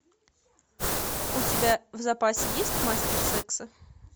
у тебя в запасе есть мастер секса